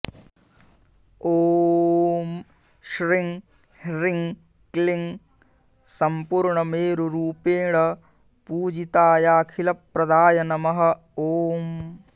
ॐ श्रीं ह्रीं क्लीं सम्पूर्णमेरुरूपेण पूजितायाखिलप्रदाय नमः ॐ